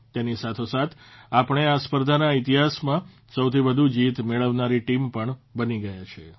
તેની સાથોસાથ આપણે આ સ્પર્ધાના ઇતિહાસમાં સૌથી વધુ જીત મેળવનારી ટીમ પણ બની ગયા છીએ